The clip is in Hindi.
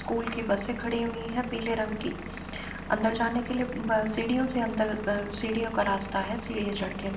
स्कूल की बसें खड़ी हुई है पीले रंग की। अंदर जाने के लिए ब सीढ़ियों से अंदर अ सीढ़ियों का रास्ता है। सीढ़ियाँ चढ़ के --